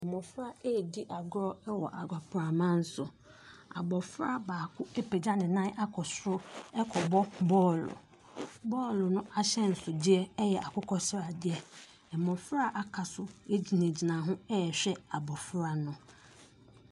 Mmɔfra ɛredi agorɔ wɔ agoprama so, abɔfra baako apagya ne nan akɔ soro ɛrekɔbɔ bɔɔlo, bɔɔlo no ahyɛnsodeɛ yɛ akokɔsradeɛ. Mmɔfra aka so gyinagyina hɔ ɛrehwɛ abɔfra no.